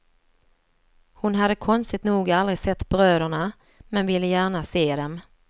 Hon hade konstigt nog aldrig sett bröderna men ville gärna se dem.